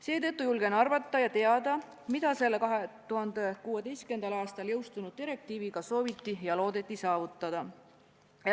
Seetõttu julgen arvata, mida selle 2016. aastal jõustunud direktiiviga sooviti ja loodeti saavutada.